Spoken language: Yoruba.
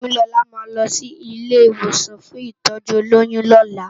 Temilola má lò si ilé iwósàn fún itòjú ólóyùn lòlá